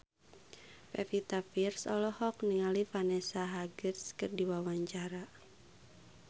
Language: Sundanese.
Pevita Pearce olohok ningali Vanessa Hudgens keur diwawancara